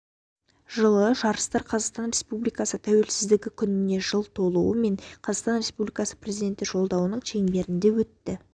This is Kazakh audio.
жылы жарыстар қазақстан республикасы тәуелсіздігі күніне жыл толуы мен қазақстан республикасы президенті жолдауының шеңберінде өтті